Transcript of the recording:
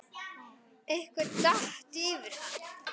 Einhver datt yfir hana.